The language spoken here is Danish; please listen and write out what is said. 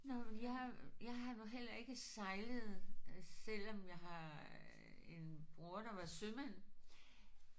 Nåh men jeg har jeg har nu heller ikke sejlet selvom jeg har en bror der var sømand